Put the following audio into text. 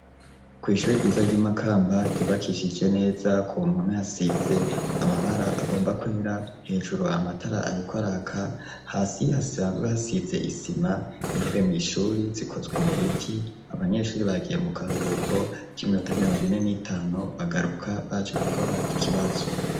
Ku ishure ryiza ry'imakamba ryubakishije neza ku mpome hasize amabara agomba kwera hejuru amatara ariko araka hasi hasanzwe hasize isima intebe mu ishuri zikozwe mu biti abanyeshure bagiye mu karuhuko k'iminota mirongo ine n'itanu bagaruka baje gukora ikibazo.